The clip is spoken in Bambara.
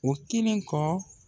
O kelen kɔ